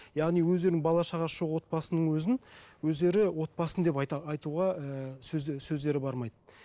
яғни өздерінің бала шағасы жоқ отбасының өзін өздері отбасым деп айтуға ыыы сөздері бармайды